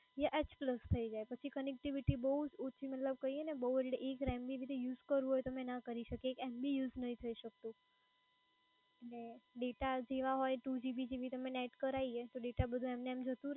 યા H plus થઈ જાય પછી connectivity બોવ જ ઓછી મતલબ કહીએ ને બહુ એટલે એક mb ભી અગર યુઝ કરવું હોય તો અમે ના કરી શકીએ. એક mb use નહિ થઈ શકતું. અને ડેટા જેવાં હોય ટુ જીબી જીબી તમે નેટ કરાઈએ તો ડેટા બધાં એમનેમ જતું